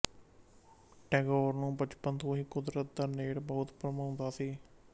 ਟੈਗੋਰ ਨੂੰ ਬਚਪਨ ਤੋਂ ਹੀ ਕੁਦਰਤ ਦਾ ਨੇੜ ਬਹੁਤ ਭਾਉਂਦਾ ਸੀ